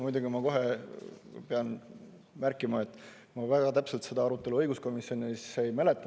Muidugi ma kohe pean märkima, et ma väga täpselt seda arutelu õiguskomisjonis ei mäleta.